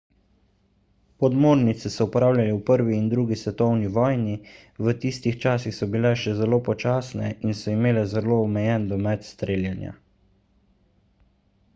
podmornice so uporabljali v 1 in 2 svetovni vojni v tistih časih so bile še zelo počasne in so imele zelo omejen domet streljanja